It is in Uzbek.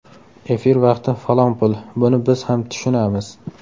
Efir vaqti falon pul, buni biz ham tushunamiz.